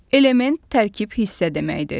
Element tərkib hissə deməkdir.